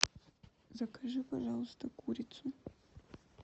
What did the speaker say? закажи пожалуйста курицу